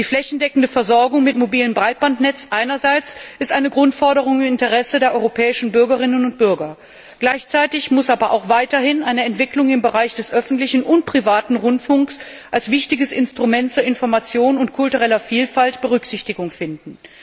Die flächendeckende Versorgung mit mobilem Breitbandnetz einerseits ist eine Grundforderung im Interesse der europäischen Bürgerinnen und Bürger andererseits muss aber auch weiterhin eine Entwicklung im Bereich des öffentlichen und privaten Rundfunks als wichtiges Instrument für Information und kulturelle Vielfalt Berücksichtigung finden.